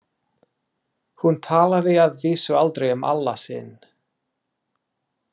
Hún talaði að vísu aldrei um Alla sinn.